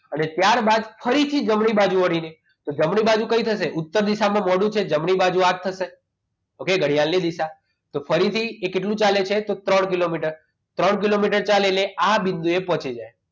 અને ત્યારબાદ ફરીથી જમણી બાજુ વળીને તો જમણી બાજુ કઈ થશે ઉત્તર દિશામાં મોઢું છે જમણી બાજુ આ થશે ઘડિયાળની દિશા તો ફરીથી એ કેટલું ચાલે છે તો ત્રણ કિલોમીટર ત્રણ કિલોમીટર ચાલીને આ બિંદુએ પહોંચી જાય